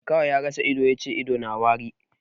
Makaho ya rasa ido ya ce ido na wari.